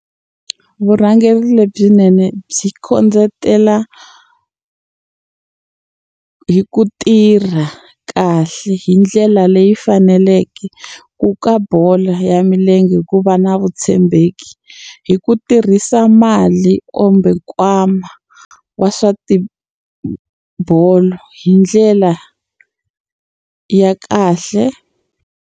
Vurhangeri lebyinene byi kondletela hi ku tirha kahle hi ndlela leyi faneleke ku ka bolo ya milenge ku va na vutshembeki hi ku tirhisa mali kumbe nkwama wa swa tibolo hi ndlela ya kahle.